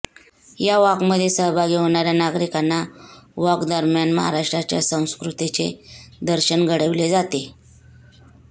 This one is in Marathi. या वाॅकमध्ये सहभागी होणार्या नागरिकांना वाॅक दरम्यान महाराष्ट्राच्या संस्कृतीचे दर्शन घडविले जाते